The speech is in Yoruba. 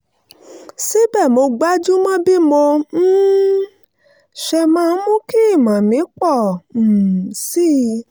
síbẹ̀ mo gbájú mọ́ bí mo um ṣe máa mú kí ìmọ̀ mi pọ̀ um sí i